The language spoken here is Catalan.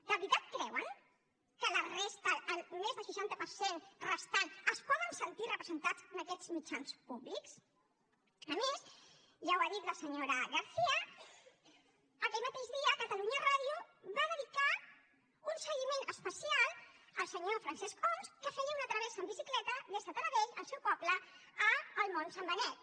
de veritat creuen que la resta més del seixanta per cent restant es poden sentir representats en aquests mitjans públics a més ja ho ha dit la senyora garcía aquell mateix dia catalunya ràdio va dedicar un seguiment especial al senyor francesc homs que feia una travessa en bicicleta des de taradell el seu poble al món sant benet